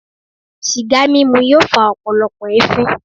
Sìgá mímu yóò fa ọpọlọpọ ẹfin.